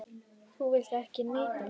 Þú vilt ekki neita mér.